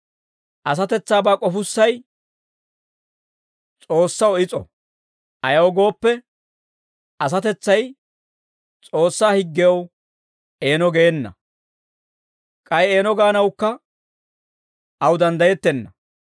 Asatetsaabaa k'ofussay S'oossaw is'o; ayaw gooppe, asatetsay S'oossaa higgew eeno geena; k'ay eeno gaanawukka aw danddayettenna.